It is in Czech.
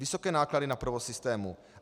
Vysoké náklady na provoz systému.